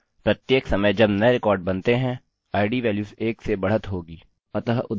अब प्रत्येक समय नये रिकार्ड जब बनती है id वेल्यूस एक से बढ़त होगी